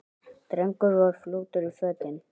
Drengur var fljótur í fötin.